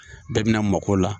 Bɛɛ bɛna mako la.